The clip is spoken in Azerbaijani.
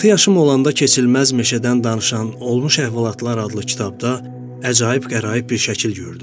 Altı yaşım olanda keçilməz meşədən danışan olmuş əhvalatlar adlı kitabda əcaib qəraib bir şəkil gördüm.